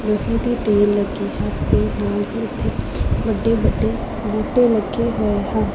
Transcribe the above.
ਲੋਹੇ ਦੀ ਢੇਰ ਲੱਗੀ ਹੈ ਤੇ ਨਾਲ ਹੀ ਇੱਥੇ ਵੱਡੇ ਵੱਡੇ ਬੂਟੇ ਲੱਗੇ ਹੋਏ ਹਨ।